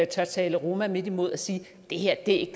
tale roma midt imod og sige det her er ikke